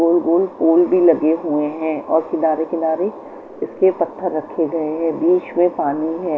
गोल गोल पोल भी लगे हुए हैं और किनारे किनारे इसके पत्थर रखे गए हैं बीच में पानी है।